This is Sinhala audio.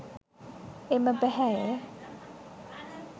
එම පැහැය